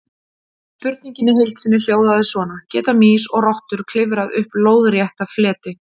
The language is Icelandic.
Spurningin í heild sinni hljóðaði svona: Geta mýs og rottur klifrað upp lóðrétta fleti?